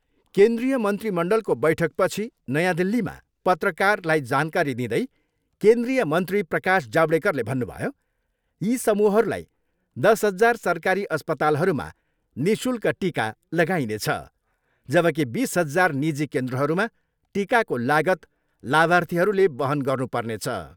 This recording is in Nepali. केन्द्रीय मन्त्रीमण्डलको बैठकपछि नयाँ दिल्लीमा पत्रकारलाई जानकारी दिँदै केन्द्रीय मन्त्री प्रकाश जावडेकरले भन्नुभयो, यी समूहहरूलाई दस हजार सरकारी अस्पातालहरूमा निःशुल्क टिका लागाइनेछ जबकी बिस हजार निजी केन्द्रहरूमा टिकाको लागत लाभार्थीहरूले वहन गर्नुपर्नेछ।